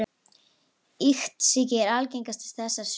Iktsýki er algengastur þessara sjúkdóma.